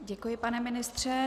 Děkuji, pane ministře.